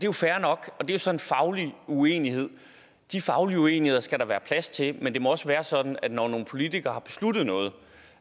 jo fair nok og det er så en faglig uenighed de faglige uenigheder skal der være plads til men det må også være sådan at når nogle politikere har besluttet noget